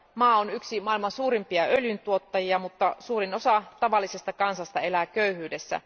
Maa on yksi maailman suurimpia öljyntuottajia, mutta suurin osa tavallisesta kansasta elää köyhyydessä.